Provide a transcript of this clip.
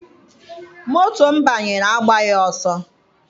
Moto m banyere agbaghị ọsọ.